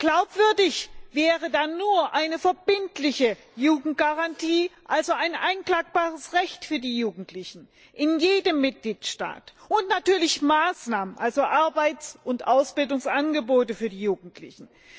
Glaubwürdig wäre da nur eine verbindliche Jugendgarantie, also ein einklagbares Recht für die Jugendlichen in jedem Mitgliedstaat, und natürlich Maßnahmen, also Arbeits und Ausbildungsangebote für die Jugendlichen.